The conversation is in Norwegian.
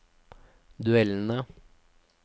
duellene